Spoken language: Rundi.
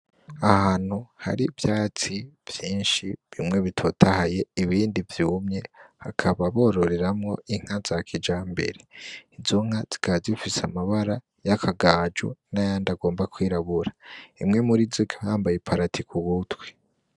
Ahantu hari vyatsi vyinshi bimwe bitotahaye ibindi vyumye hakababororeramwo inka za kija mbere izonka zwazifise amabara y'akagaju nayandi agomba kwirabura emwe muri zoghambaye paratiku butwi.